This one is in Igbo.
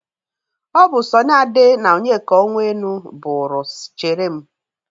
Ọ bụ Sọni Ade na Onyeka Onwenu bụrụ 'chere m'.